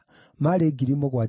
andũ a Alawii maarĩ 4,600;